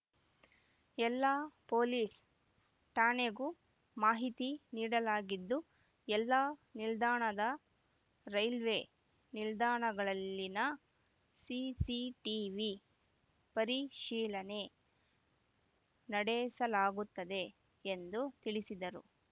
ಎಲ್ಲಾ ಪೊಲೀಸ್‌ ಠಾಣೆಗೂ ಮಾಹಿತಿ ನೀಡಲಾಗಿದ್ದು ಎಲ್ಲಾ ನಿಲ್ದಾಣದ ರೈಲ್ವೆ ನಿಲ್ದಾಣಗಳಲ್ಲಿನ ಸಿಸಿಟಿವಿ ಪರಿಶೀಲನೆ ನಡೆಸಲಾಗುತ್ತದೆ ಎಂದು ತಿಳಿಸಿದರು